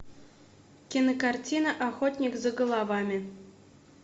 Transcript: кинокартина охотник за головами